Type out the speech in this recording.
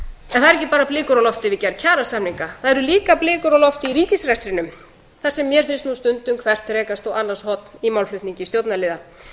bara blikur á lofti við gerð kjarasamninga það eru líka blikur á lofti í ríkisrekstrinum þar sem mér finnst nú stundum hvert rekast á annars horn í málflutningi stjórnarliða